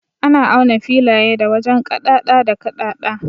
Ana auna filaye da wajen kaɗada da kaɗada.